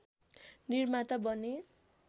निर्माता बने